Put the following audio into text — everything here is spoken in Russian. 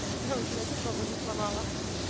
ой блять чуть ногу не сломала